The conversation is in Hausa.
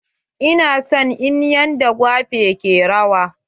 Ina son yanda en gwape ke rawa.